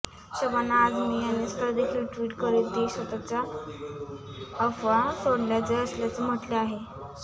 शबाना आझमी यांनी स्वतःदेखील ट्विट करीत देश सोडण्याच्या अफवा असल्याचे म्हटले आहे